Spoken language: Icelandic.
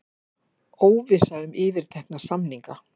Óvissa um yfirtekna samninga